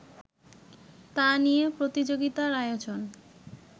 তা নিয়ে প্রতিযোগিতার আয়োজন